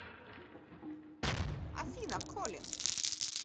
афина коллин